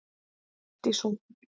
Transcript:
Allt í sókn